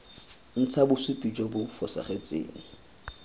ntsha bosupi jo bo fosagetseng